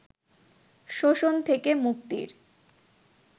শোষণ থেকে মুক্তির